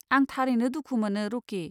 आं थारैनो दुखु मोनो, रकि।